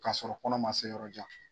K'a sɔrɔ kɔnɔ ma se yɔrɔ jan.